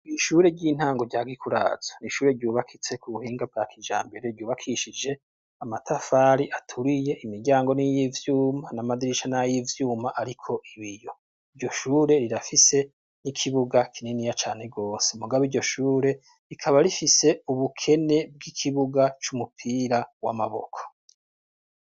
Ishure ry'intango rya gikurazo nishure ryubakitse ku buhinga bwa kija mbere ryubakishije amatafari aturiye imiryango niy'ivyuma n'amadirisha n'ay ivyuma, ariko ibi iyo ryo shure rirafise n'ikibuga kinini ya cane rwose mugabo iryo shure rikaba rifise ubukene bw'ikibuga c'umupira w amaboko.